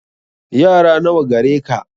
Yara nawa gare ka